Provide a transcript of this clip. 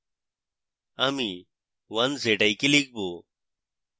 আমি 1zik one z i k লিখব